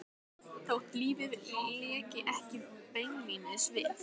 Þótt lífið léki ekki beinlínis við